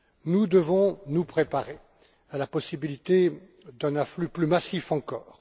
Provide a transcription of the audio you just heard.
Nous devons nous préparer à la possibilité d'un afflux plus massif encore.